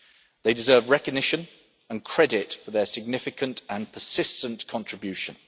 They deserve recognition and credit for their significant and persistent contribution.